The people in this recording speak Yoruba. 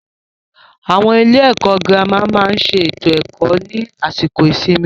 Àwọn ilé ẹ̀kọ́ gírámà máà ń ṣe ètò ẹ̀kó ní àsìkò ìsinmi.